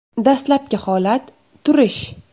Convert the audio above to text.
Dastlabki holat – turish.